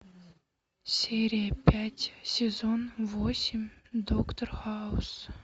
серия пять сезон восемь доктор хаус